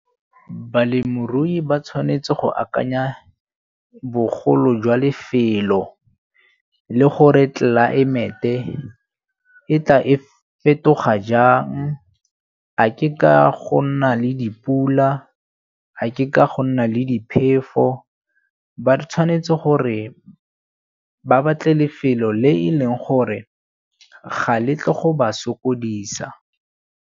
Balemirui ba tshwanetse go akanya bogolo jwa lefelo le gore tlelaemete e tla e fetoga jang, a ke ka go nna le dipula, a ke ka go nna le diphefo. Ba tshwanetse gore ba batle lefelo le e leng gore ga le tle go ba sokodisa.